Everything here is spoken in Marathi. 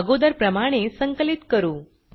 अगोदर प्रमाणे संकलित करू